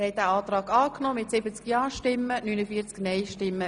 Sie haben den Kredit angenommen.